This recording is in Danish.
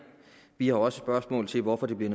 vi har også spørgsmål til hvorfor det